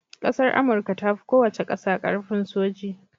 ƙasar amurka tafi kowace ƙasa karfin soji